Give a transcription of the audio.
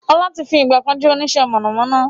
Ọlá tí fi ìgbàkan jẹ́ onisẹ́ mọ̀nàmọ́ná